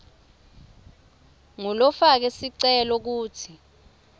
ngulofake sicelo kutsi